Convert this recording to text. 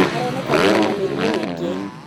Aronekanire na mĩrimũ mĩingĩ